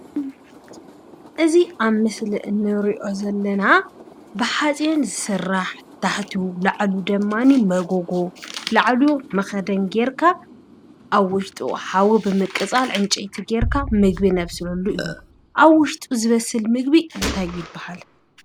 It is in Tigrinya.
እዚ አብ ምስሊ እንሪኦ ዘለና ብሓፂን ዝስራሕ ታሕቱ፣ ላዕሉ ድማነይ መጎጎ ፣ላዕሉ መኽደን ገይርካ አብ ውሽጡ ሓዊ ብምቅፃል ዕንጨይቲ ገይርካ ምግቢ ነብስለሉ እዩ፡፡ አብ ውሽጡ ዝበስል ምግቢ እንታይ ይበሃል?